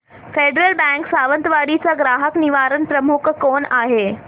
federal Bank Sawantwadi चा ग्राहक निवारण प्रमुख कोण आहे